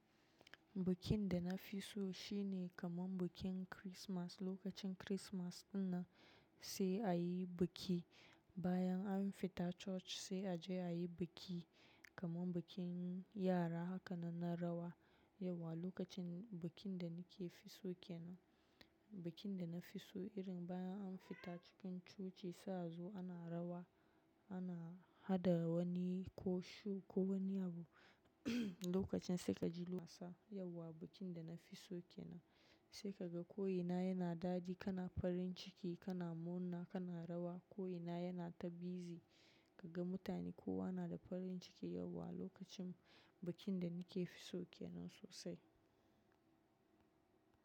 Bikin da na fi so shine kaman bikin Kirismas. Lokacin Kirismas din nan sai a yi biki, bayan an fita coci sai a je a yi biki kaman bikin yara haka nan na rawa. Yau wa lokacin bikin da ni ke fi so ke nan. Bikin da na fi so irin bayan an fita cikin coci sai a zo ana rawa, ana haɗa wani koshu ko wani abu lokacin sai ka ji was sa. Yau wa bikin da na fi so ke nan. Sai ka ga koyina yana daɗi, kana farin ciki, kana murna, kana rawa. Koyina yana ta bizi, ka ga mutane kowa na da farin ciki. Yau wa lokacin bikin da ni ke fi so ke nan sosai.